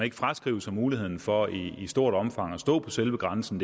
ikke fraskrive sig muligheden for i stort omfang at stå på selve grænsen